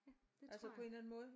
Ja det tror jeg